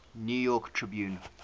new york tribune